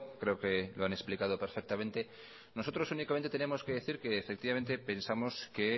creo que lo han explicado perfectamente nosotros únicamente tenemos que decir que efectivamente pensamos que